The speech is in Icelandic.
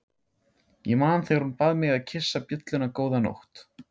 Ég man þegar hún bað mig að kyssa bjölluna góða nótt.